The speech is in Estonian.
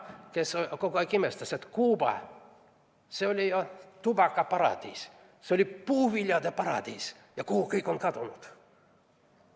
Ta kogu aeg imestas: Kuuba, see oli ju tubakaparadiis, see oli puuviljade paradiis, ja kuhu kõik on kadunud?